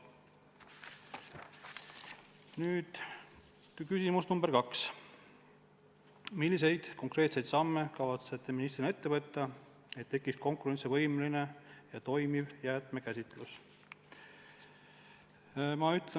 Nüüd küsimus number kaks: "Milliseid konkreetseid samme kavatsete ministrina ette võtta, et tekiks konkurentsivõimeline ja toimiv jäätmekäitlus?